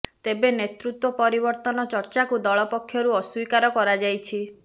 ତେବେ ନେତୃତ୍ୱ ପରିବର୍ତ୍ତନ ଚର୍ଚ୍ଚାକୁ ଦଳ ପକ୍ଷରୁ ଅସ୍ୱୀକାର କରାଯାଇଛି